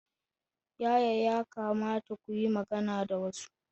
Yaya ya kamata ku yi magana da wasu?